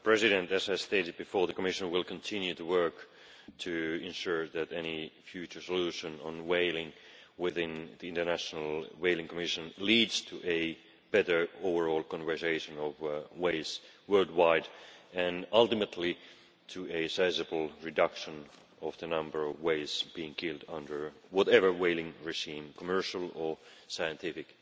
Madam President, as I stated before, the Commission will continue to work to ensure that any future solution on whaling within the International Whaling Commission leads to a better overall conservation of whales worldwide and ultimately to a sizable reduction in the number of whales being killed under whatever whaling regime, commercial or scientific.